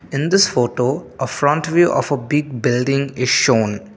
in this photo a front view of a big building is show.